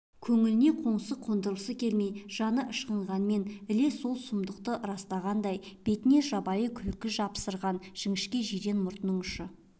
көңліне қоңсы қондырғысы келмей жаны ышқынғанмен іле сол сұмдықты растағандай бетіне жабайы күлкі жапсырған жіңішке жирен мұртының ұшы